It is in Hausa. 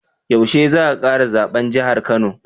Yaushe za a kara zaben jahar kano